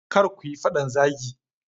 Kar kuyi fadan zagi.